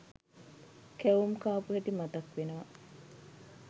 කැවුම් කාපු හැටි මතක් වෙනවා.